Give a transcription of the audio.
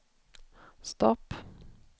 stopp